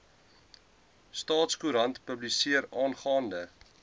staatskoerant publiseer aangaande